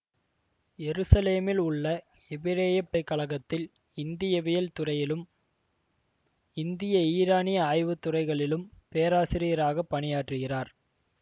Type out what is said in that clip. யெரூசலேமில் உள்ள எபிரேயப் பல்கலை கழகத்தில் இந்தியவியல் துறையிலும் இந்திய ஈரானிய ஆய்வுத் துறைகளிலும் பேராசிரியராக பணியாற்றுகிறார்